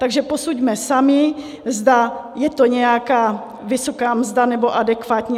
Takže posuďme sami, zda je to nějaká vysoká mzda, nebo adekvátní.